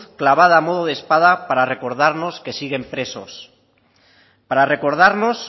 clavada a modo de espada para recordarnos que siguen presos para recordarnos